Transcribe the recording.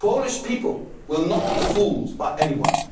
Polish people will not be fooled by anyone.